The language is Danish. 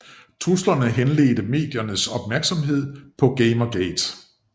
Truslerne henledte mediernes opmærksomhed på Gamergate